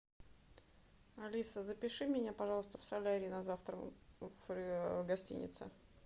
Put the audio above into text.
алиса запиши меня пожалуйста в солярий на завтра в гостинице